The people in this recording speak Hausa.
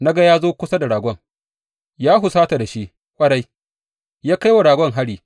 Na ga ya zo kusa da ragon, ya husata da shi ƙwarai, ya kai wa ragon hari.